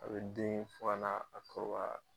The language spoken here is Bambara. A be den fana a kɔrɔba